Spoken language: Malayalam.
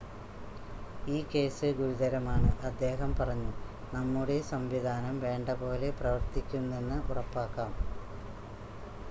ഈ കേസ് ഗുരുതരമാണ് അദ്ദേഹം പറഞ്ഞു നമ്മുടെ സംവിധാനം വേണ്ട പോലെ പ്രവർത്തിക്കുന്നെന്ന് ഉറപ്പാക്കാം